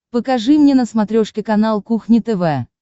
покажи мне на смотрешке канал кухня тв